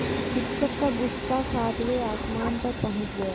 शिक्षक का गुस्सा सातवें आसमान पर पहुँच गया